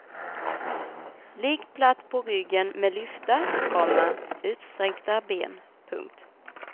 Ligg platt på ryggen med lyfta, komma utsträckta ben. punkt